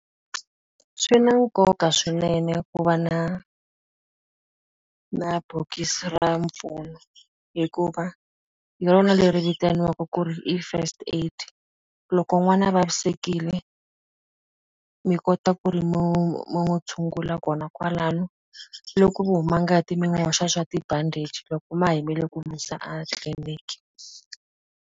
Swi na nkoka swinene ku va na na bokisi ra mpfuno, hikuva hi rona leri vitaniwaka ku ri i first aid. Loko n'wana a vavisekile, mi kota ku ri mi n'wi tshungula kona kwalano. Loko ku huma ngati mi n'wi hoxa swa tibandichi loko ma ha yimele ku n'wi yisa a tliliniki.